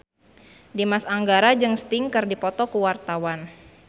Dimas Anggara jeung Sting keur dipoto ku wartawan